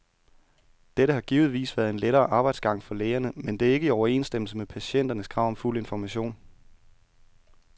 Dette har givetvis været en lettere arbejdsgang for lægerne, men det er ikke i overensstemmelse med patienternes krav om fuld information.